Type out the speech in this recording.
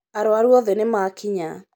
Arwaru othe nĩmakinya